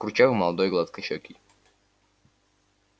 курчавый молодой гладкощекий